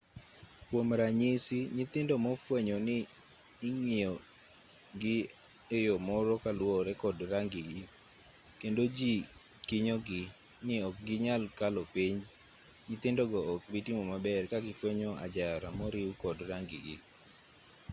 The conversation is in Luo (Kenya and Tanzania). kuom ranyisi nyithindo mofwenyo ni ing'iyo gi eyo moro kaluwore kod rangi gii kendo jii kinyo gii ni ok ginyal kalo penj nyithindogo ok bii timo maber kagifwenyo ajara moriu kod rangi gii